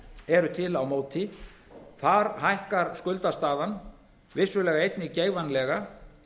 eru til á móti þar hækkar skuldastaðan vissulega einnig geigvænlega